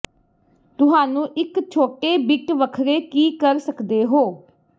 ਤੁਹਾਨੂੰ ਇੱਕ ਛੋਟੇ ਬਿੱਟ ਵੱਖਰੇ ਕੀ ਕਰ ਸਕਦੇ ਹੋ